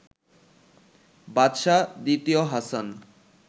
বাদশাহ দ্বিতীয় হাসান